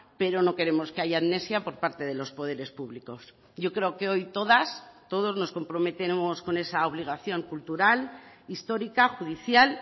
pero no queremos que haya amnesia por parte de los poderes públicos yo creo que hoy todas todos nos comprometemos con esa obligación cultural histórica judicial